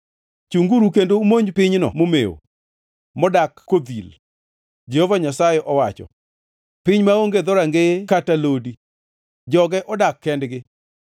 “Chunguru kendo umonj pinyni momewo, modak kodhil,” Jehova Nyasaye owacho, “piny maonge dhorangeye kata lodi; joge odak kendgi.